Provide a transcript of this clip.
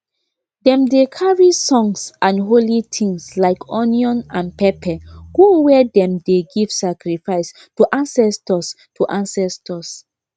dem dey carry songs and holy things like onion and pepper go where dem dey give sacrifice to ancestors to ancestors